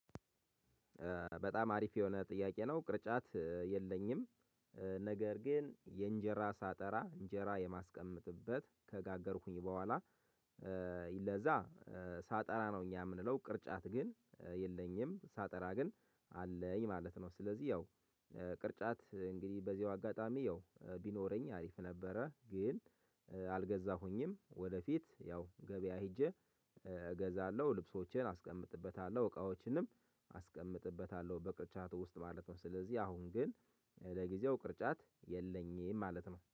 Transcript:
በጣም አሪፍ የሆነ ጥያቄ ነው። ቅርጫት የለኝም፤ ነገር ግን የእንጀራ ሳጠራ እንጀራ የማስቀመጥበት ከጋገርኩኝ በኋላ ለዛ ሳጠራ ነው እኛ የምንለው ቅርጫት ግን የለኝም፤ ሳጠራ ግን አለኝ ማለት ነው። ስለዚህ ያው ቅርጫት እንግዲህ በዚሁ አጋጣሚ ያው ቢኖረኝ አሪፍ ነበረ፤ ግን አልገዛሁኝም ወደፊት ያው ገበያ ሄጄ እገዛለሁ ልብሶቼን አስቀምጥበታለሁ እቃዎችንም አስቀምጥበታለሁ በቅርጫቱ ውስጥ ማለት ነው ስለዚህ አሁን ግን ለጊዜው ቅርጫት የለኝም ማለት ነው።